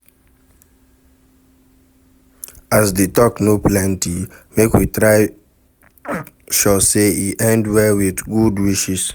As di talk no plenty make we try make sure say e end well with good wishes